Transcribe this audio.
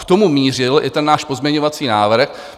K tomu mířil i ten náš pozměňovací návrh.